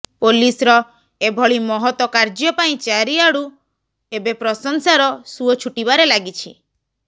ପୋଲିସର ଏଭଳି ମହତ କାର୍ଯ୍ୟ ପାଇଁ ଚାରିଆଡୁ ଏବେ ପ୍ରଶଂସାର ସୁଅ ଛୁଟିବାରେ ଲାଗିଛି